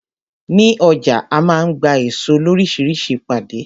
Ní ọjà a máa ń gba èso loríṣiríṣi pàdé.